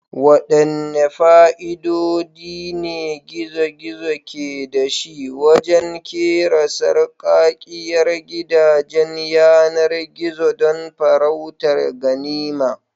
Waɗanne fa'idodi ne gizo-gizo ke da shi wajen kera sarkakkiyar gidajen yanar gizo don farautar ganima?